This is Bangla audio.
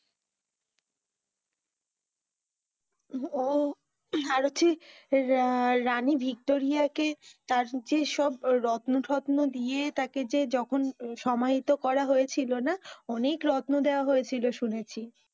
রানী ভিক্টোরিয়া কে তার যে সব রত্নটত্ন দিয়ে তাকে যে যখন সমাহিত করা হয়েছিল না, অনেক রত্ন দেওয়া হয়েছিল শুনেছি,